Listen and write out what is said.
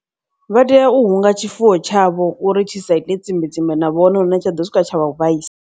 Vha tea u hunga tshifuwo tshavho uri tshi sa ite tsimbe tsimbe na vhone hune tsha ḓo swika tsha vha vhaisa.